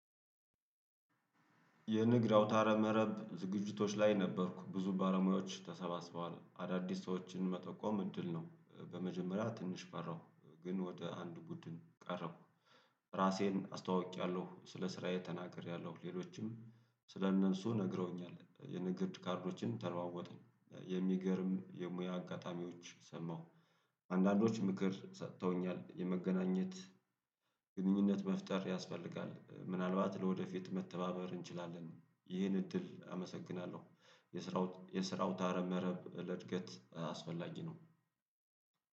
የንግድ አውታረ መረብ ዝግጅቶች ላይ ነበርኩ ብዙ ባለሙያዎች ተሰባስበዋል አዳዲስ ሰዎችን መጠቆም እድል ነው። በመጀመሪያ ትንሽ ፈራሁ ግን ወደ አንድ ቡድን ቀረብሁ። ራሴን አስተዋውቄያለሁ ስለ ስራዬ ተናግሬያለሁ ሌሎችም ስለ እነሱ ነግረውኛል የንግድ ካርዶችን ተለዋወጥን የሚገርም የሙያ አጋጣሚዎች ሰማሁ። አንዳንዶች ምክር ሰጥተውኛል የመገናኘት ግንኙነት መፍጠር ያስፈልጋል ምናልባት ለወደፊት መተባበር እንችላለን። ይህን እድል አመሰግናለሁ። የስራው የስራ አውታረ መረብ ለእድገት አስፈላጊ ነው